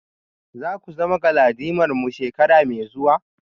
Za ku zama galadimarmu shekara mai zuwa?